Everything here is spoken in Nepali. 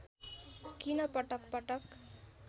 किन पटक पटक